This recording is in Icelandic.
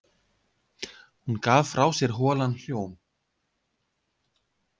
Hún gaf frá sér holan hljóm.